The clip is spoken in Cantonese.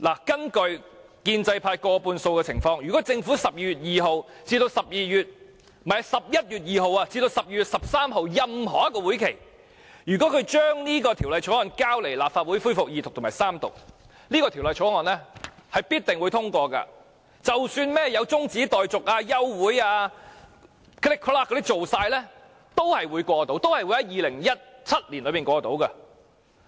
基於建制派佔過半數的情況，如果政府在11月2日至12月13日任何一個會議上將這法案交來立法會恢復二讀及三讀，這條例草案必定獲得通過。即使有中止待續、休會等情況出現，最後都會在2017年內獲得通過。